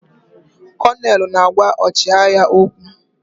Konelu na-agwa ọchịagha okwu.